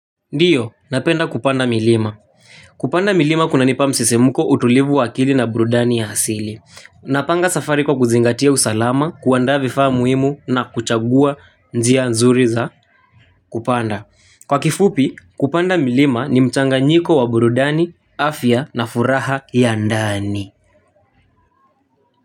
Ndiyo, napenda kupanda milima. Kupanda milima kunanipa msisimko utulivu wa akili na burudani ya asili. Napanga safari kwa kuzingatia usalama, kuandaa vifaa muhimu na kuchagua njia nzuri za kupanda. Kwa kifupi, kupanda milima ni mchanganyiko wa burudani, afya na furaha ya ndani.